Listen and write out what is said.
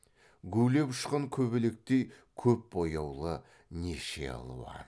гулеп ұшқан көбелектей көп бояулы неше алуан